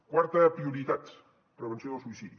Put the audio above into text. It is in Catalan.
quarta prioritat prevenció del suïcidi